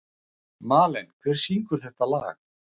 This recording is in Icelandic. Malen, hver syngur þetta lag?